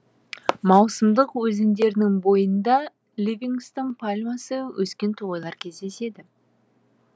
маусымдық өзендерінің бойында ливингстон пальмасы өскен тоғайлар кездеседі